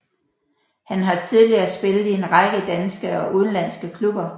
Han har tidligere spillet i en række danske og udenlandske klubber